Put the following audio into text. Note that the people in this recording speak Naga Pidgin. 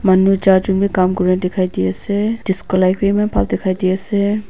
manu char Jun bh kam kori na dekhai de ase disco light bhi eman bhan dekhai de ase.